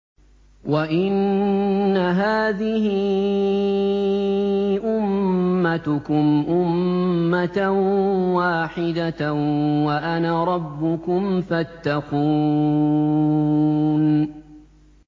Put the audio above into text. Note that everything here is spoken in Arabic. وَإِنَّ هَٰذِهِ أُمَّتُكُمْ أُمَّةً وَاحِدَةً وَأَنَا رَبُّكُمْ فَاتَّقُونِ